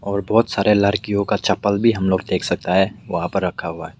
और बहोत सारे लड़कियों का चप्पल भी हम लोग देख सकता है वहां पर रखा हुआ है।